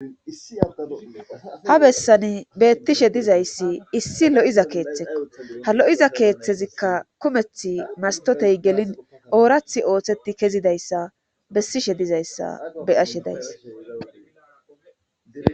Ha bessan beettishe dizayssi issi lo'iza keeththekko ha lo'iza keeththezikka kumeth mastotey gelin oorath ooththeti kezidayssa bessishe dizayssa beyashe dayss.